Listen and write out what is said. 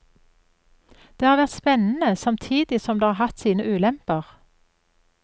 Det har vært spennende, samtidig som det har hatt sine ulemper.